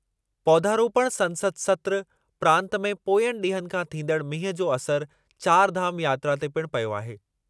पौधारोपण संसद सत्रु, प्रांतु में पोयनि ॾींहनि खां थींदड़ु मींहुं जो असरु चारि धाम यात्रा ते पिणु पयो आहे।